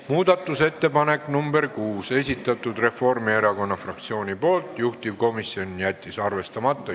Muudatusettepaneku nr 6 on esitanud Reformierakonna fraktsioon, juhtivkomisjon jättis arvestamata.